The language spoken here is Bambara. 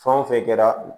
Fɛn o fɛn kɛra